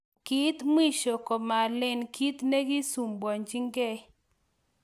Keit mwisho komelen kit nekisumbuanchiykei.